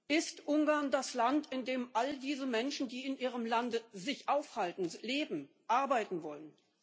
Ist Ungarn das Land, in dem all diese Menschen, die sich in Ihrem Lande aufhalten, leben, arbeiten wollen?